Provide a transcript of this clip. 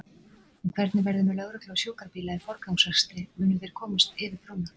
En hvernig verður með lögreglu og sjúkrabíla í forgangsakstri, munu þeir komast yfir brúna?